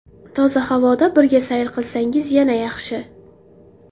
Toza havoda birga sayr qilsangiz yana yaxshi.